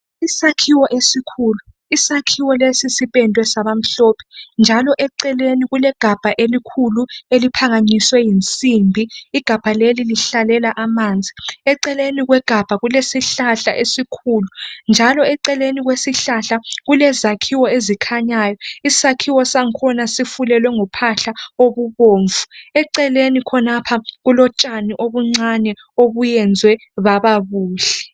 isakhiwo esikhulu, isakhiwo lesi sipendwe saba mhlophe ,njalo eceleni kulegabha elikhuli eliphakanyiswe yinsimbi , igabha leli lihlalela amanzi ,eceleni kwegabha leli kulesihlahla esikhulu njalo eceleni kwesihlahla kulezakhiwo ezikhanyayo ,isakhiwo sakhona sifulelwe ngophahla okubomvu eceleni khonapha kulo tshani obuncane ebenziwe baba buhle